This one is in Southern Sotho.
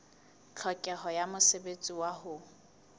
tlhokeho ya mosebetsi wa ho